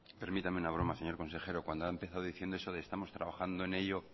permítame una broma señor consejero cuando ha empezado diciendo eso de estamos trabajando en ello